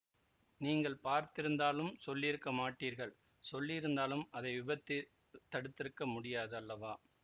நீங்கள் பார்த்திருந்தாலும் சொல்லியிருக்க மாட்டீர்கள் சொல்லியிருந்தாலும் அதை விபத்தைத் தடுத்திருக்க முடியாது அல்லவா